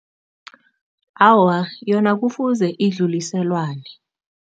Awa, yona kufuze idluliselwane.